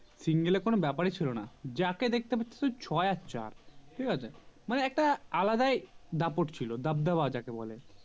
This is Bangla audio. Single এ কোনো ব্যাপার ছিল না যাকে দেখতে পেতো শুধু ছয় আর চার ঠিক আছে মানে একটা আলাদাই দাপট ছিল দাবদাবা যাকে বলে